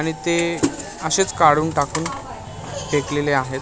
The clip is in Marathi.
आणि ते असेच काढून टाकून फेकलेले आहेत.